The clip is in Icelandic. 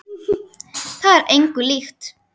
Það er engu líkt.